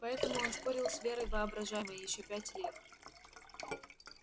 поэтому он спорил с верой воображаемой ещё пять лет